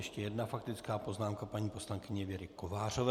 Ještě jedna faktická poznámka paní poslankyně Věry Kovářové.